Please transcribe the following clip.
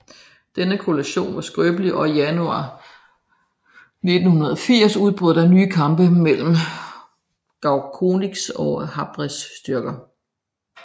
Denne koalition var skrøbelig og i januar 1980 udbrød der nye kampe mellem Goukounis og Habrés styrker